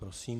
Prosím.